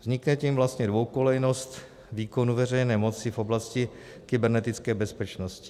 Vznikne tím vlastně dvoukolejnost výkonu veřejné moci v oblasti kybernetické bezpečnosti.